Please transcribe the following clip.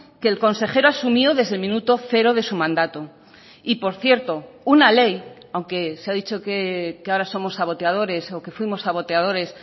que el consejero asumió desde el minuto cero de su mandato y por cierto una ley aunque se ha dicho que ahora somos saboteadores o que fuimos saboteadores